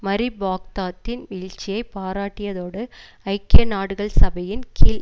மரி பாக்தாதின் வீழ்ச்சியை பாராட்டியதோடு ஐக்கிய நாடுகள் சபையின் கீழ்